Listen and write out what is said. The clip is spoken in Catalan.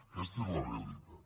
aquesta és la realitat